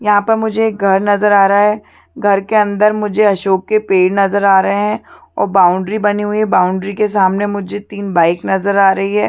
यहाँ पर मुझे एक घर नजर आ रहा है घर के अंदर मुझे अशोक के पेड़ नजर आ रहा है और बाउंड्री बनी हुई है और बाउंड्री के सामने मुझे तीन बाइक नजर आ रही है।